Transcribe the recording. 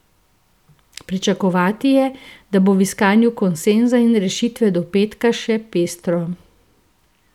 Pričakovati je, da bo v iskanju konsenza in rešitve do petka še pestro.